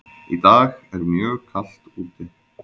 Í dag er mjög kalt úti.